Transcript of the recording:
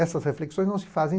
Essas reflexões não se fazem.